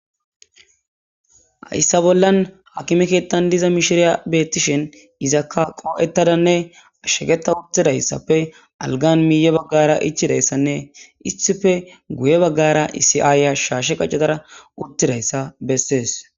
hayssa bollan hakimekeettan diza mishiriya beettishen izakka qoo7ettadanne ashsheketa uttidayssappe algan miiye baggara ichidayssanne issife guye baggara isi7aaya shaashe qaccatara uttidayssa bessees